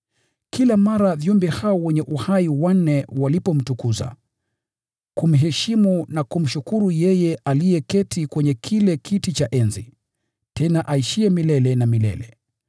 Kila mara viumbe hao wanne wenye uhai wanapomtukuza, kumheshimu na kumshukuru yeye aketiye kwenye kile kiti cha enzi, tena aishiye milele na milele,